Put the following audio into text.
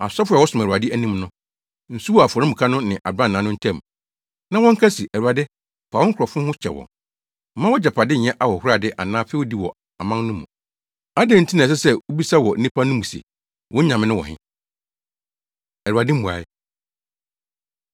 Asɔfo a wɔsom wɔ Awurade anim no, nsu wɔ afɔremuka no ne abrannaa no ntam; na wɔnka se, “ Awurade fa wo nkurɔfo ho kyɛ wɔn. Mma wʼagyapade nyɛ ahohorade anaa fɛwdi wɔ aman no mu. Adɛn nti na ɛsɛ sɛ wubisa wɔ nnipa no mu se, ‘Wɔn Nyame no wɔ he?’ ” Awurade Mmuae